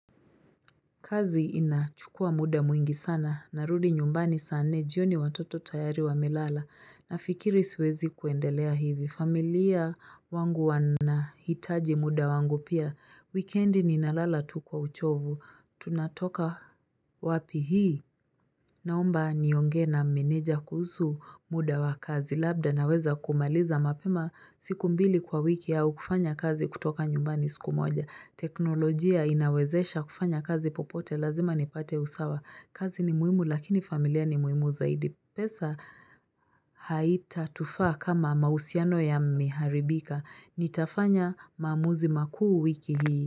Kazi inachukuwa muda mwingi sana. Narudi nyumbani saa nne. Jioni watoto tayari wamelala. Nafikiri siwezi kuendelea hivi. Familia wangu wanahitaji muda wangu pia. Wekendi ninalala tu kwa uchovu. Tunatoka wapi hii. Naomba niongee na meneja kuhusu muda wa kazi labda naweza kumaliza mapema siku mbili kwa wiki au kufanya kazi kutoka nyumbani siku moja. Teknolojia inawezesha kufanya kazi popote lazima nipate usawa. Kazi ni muhimu lakini familia ni muhimu zaidi. Pesa haita tufaa kama mahusiano yameharibika. Nitafanya maamuzi makuu wiki hii.